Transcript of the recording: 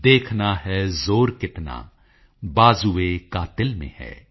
ਦੇਖਨਾ ਹੈ ਜ਼ੋਰ ਕਿਤਨਾ ਬਾਜ਼ੂਏਕਾਤਿਲ ਮੇਂ ਹੈ